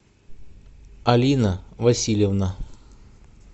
алина васильевна